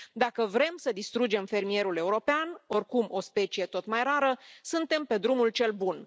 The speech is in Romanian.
Dacă vrem să distrugem fermierul european, oricum o specie tot mai rară, suntem pe drumul cel bun.